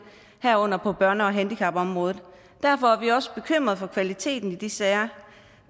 herunder på børne og handicapområdet derfor er vi også bekymret for kvaliteten i de sager